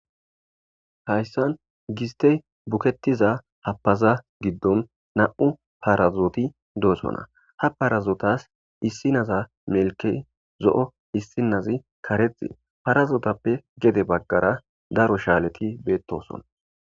Hayssan gistey buketiza hapaza giddon nam'u parazooti doosona ha parazootas issinaza melke zo'o issinazi kareti parazootappe gede baggara daro shaaleti beettoson.